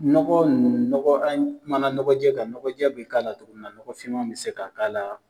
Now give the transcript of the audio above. Nɔgɔ ninnu nɔgɔ an kuma na nɔgɔjɛ kan, nɔgɔjɛ bi k'a la togo min na, nɔgɔfinma bɛ se ka k'a la